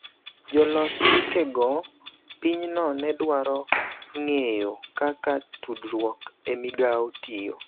Jolos chikego pinyno ne dwaro ng�eyo kaka tudruok e migao tiyo